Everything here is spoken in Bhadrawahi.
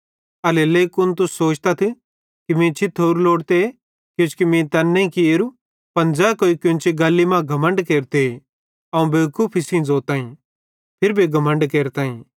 एल्हेरेलेइ कुन तुस सोचतथ कि मीं छिथोरू लोड़ते किजोकि मीं तैन नईं कियोरू पन ज़ै कोई कोन्ची गल्ली मां घमण्ड केरते अवं बेवकूफी सेइं ज़ोताईं फिरी भी घमण्ड केरताईं